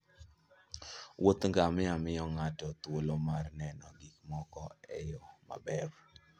wuodh ngamia miyo ng'ato thuolo mar neno gik moko e yo maber